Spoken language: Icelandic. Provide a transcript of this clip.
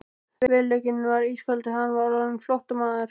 Veruleikinn var ískaldur: Hann var orðinn flóttamaður.